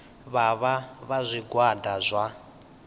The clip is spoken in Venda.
vha vha vha zwigwada zwa